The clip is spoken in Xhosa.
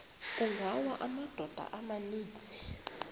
kungawa amadoda amaninzi